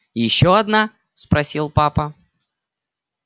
ещё одна спросил папа